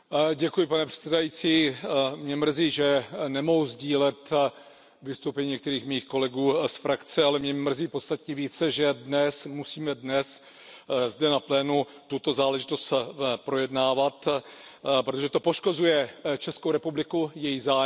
Pane předsedající, mě mrzí, že nemohu sdílet vystoupení některých mých kolegů z frakce, ale mrzí mě podstatně více, že dnes musíme zde na plénu tuto záležitost projednávat, protože to poškozuje Českou republiku, její zájmy.